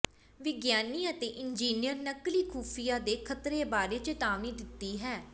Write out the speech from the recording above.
ਵਿਗਿਆਨੀ ਅਤੇ ਇੰਜੀਨੀਅਰ ਨਕਲੀ ਖੁਫੀਆ ਦੇ ਖ਼ਤਰੇ ਬਾਰੇ ਚੇਤਾਵਨੀ ਦਿੱਤੀ ਹੈ